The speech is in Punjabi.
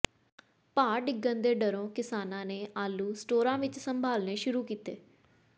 ਭਾਅ ਡਿੱਗਣ ਦੇ ਡਰੋਂ ਕਿਸਾਨਾਂ ਨੇ ਆਲੂ ਸਟੋਰਾਂ ਵਿਚ ਸੰਭਾਲਣੇ ਸ਼ੁਰੂ ਕੀਤੇ